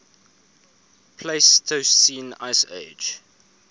pleistocene ice age